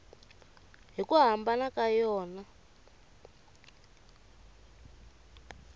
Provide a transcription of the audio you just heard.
hi ku hambana ka yona